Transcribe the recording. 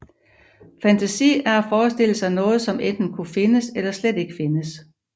Fantasi er at forestille sig noget som enten kunne findes eller slet ikke findes